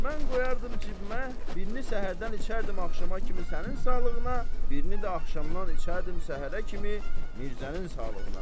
Mən qoyardım cibimə, birini səhərdən içərdim axşama kimi sənin sağlığına, birini də axşamdan içərdim səhərə kimi Mirzənin sağlığına.